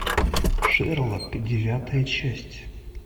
шерлок девятая часть